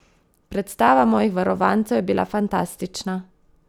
Predstava mojih varovancev je bila fantastična!